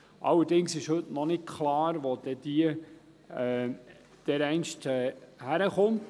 Allerdings ist heute noch nicht klar, wohin sie dereinst kommt.